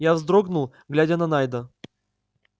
я вздрогнул глядя на найда